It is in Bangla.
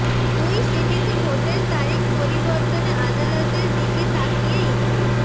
দুই সিটিতে ভোটের তারিখ পরিবর্তনে আদালতের দিকে তাকিয়ে ইসি